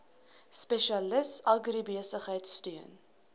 spesialis agribesigheid steun